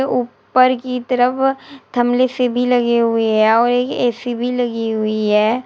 ऊपर की तरफ से भी लगी हुई है और एक ए_सी भी लगी हुई है।